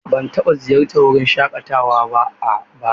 Ban taɓa ziyartar wurin shaƙatawa ba a baya.